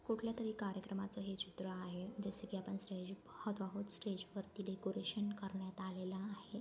कुठल्या तरी कार्यक्रमच हे चित्र आहे जसे की आपन स्टेज पाहत आहोत स्टेज वरती स्टेडेकोरेशन करण्यात आलेला आहे.